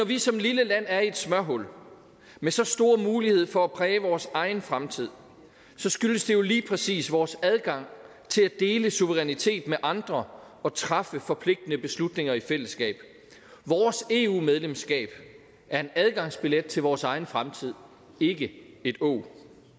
vi som et lille land er i et smørhul med så store muligheder for at præge vores egen fremtid så skyldes det jo lige præcis vores adgang til at dele suveræniteten med andre og træffe forpligtende beslutninger i fællesskab vores eu medlemskab er en adgangsbillet til vores egen fremtid ikke et åg